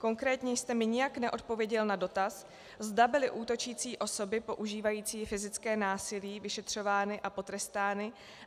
Konkrétně jste mi nijak neodpověděl na dotaz, zda byly útočící osoby používající fyzické násilí vyšetřovány a potrestány.